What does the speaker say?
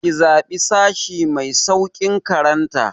Ki zaɓi sashi mai sauƙin karanta!